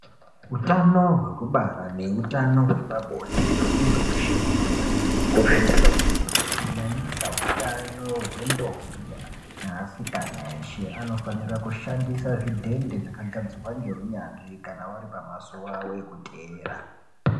Hutano hwekubara neutano hwepabonde hwemunhu weshe hunofanira kukosheswa kwemene kunyanyisa utano hwendombi neasikana eshe anofanira kushandisa zvidhende zvakagadzirwa ngeunyanzvi kana vari pamazuwa avo ekuteera.